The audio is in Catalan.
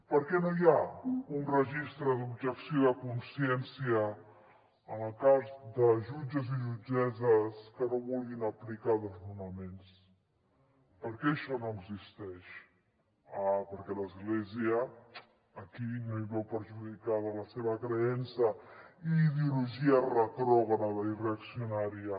per què no hi ha un registre de l’objecció de consciència en el cas de jutges i jutgesses que no vulguin aplicar desnonaments per què això no existeix ah perquè l’església aquí no hi veu perjudicada la seva creença i ideologia retrògrada i reaccionària